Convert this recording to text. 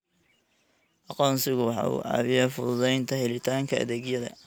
Aqoonsigu waxa uu caawiyaa fududaynta helitaanka adeegyada.